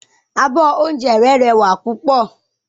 Abọ́ oúnjẹ rẹ́ rẹwà púpọ̀.